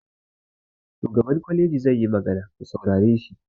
Shugaban kwaleji zai yi magana, ku saurare shi!